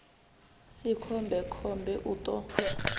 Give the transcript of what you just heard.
si khombe khombe u ṱo